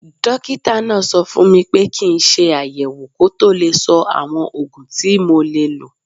Dókítà náà sọ fún mi pé kí n ṣe àyẹ̀wò kó tó lè sọ àwọn oògùn tí mo lè lò